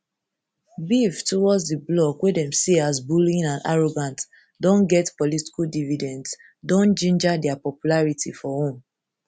beef towards di bloc wey dem see as bullying and arrogant don get political dividends don ginger dia popularity for home